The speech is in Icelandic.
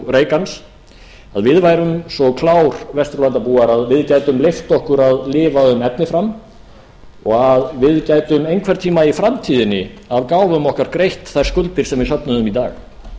værum svo klár vesturlandabúar að við gætum leyft okkur að lifa um efni fram og að við gætum einhvern tíma í framtíðinni af gáfum okkar greitt þær skuldir sem við söfnuðum í dag